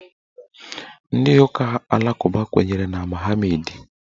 Ndị ụka alakụba kwenyere na Mọhameedị.